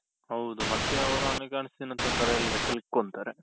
ಹೌದು ಮತ್ತೆ ಅವ್ರು ಹಣಕಾಸಿನ ತೊಂದ್ರೆಯಲ್ಲಿ ಸಿಲುಕೊಂತಾರೆ.